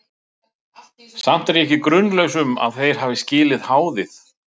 Samt er ég ekki grunlaus um, að þeir hafi skilið háðið.